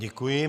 Děkuji.